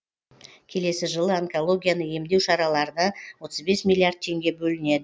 келесі жылы онкологияны емдеу шараларына отыз бес миллиард теңге бөлінеді